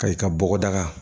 Ka i ka bɔgɔ daga